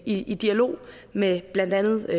i i dialog med blandt andet